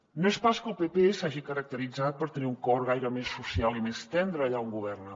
no és pas que el pp s’hagi caracteritzat per tenir un cor gaire més social i més tendre allà on governa